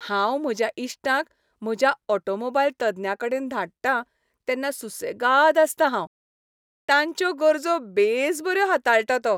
हांव म्हज्या इश्टांक म्हज्या ऑटोमोबाईल तज्ञा कडेन धाडटां तेन्ना सुसेगाद आसतां हांव. तांच्यो गरजो बेसबऱ्यो हाताळटा तो.